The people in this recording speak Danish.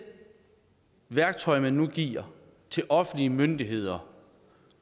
værktøj man nu giver til offentlige myndigheder